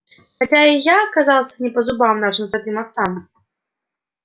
хотя я и оказался не по зубам нашим святым отцам